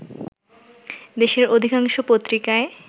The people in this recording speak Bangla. দেশের অধিকাংশ পত্রিকায়